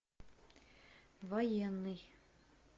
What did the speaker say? военный